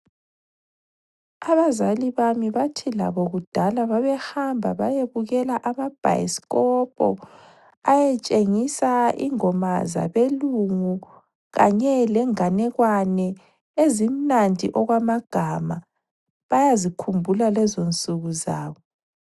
Abazali bami bathi labo kudala babehamba bayebukela amabhayisikopo, ayetshengisa ingoma zabelungu kanye lenganekwane ezimnandi okwamagama. Bayazikhumbula lezonsuku zabo.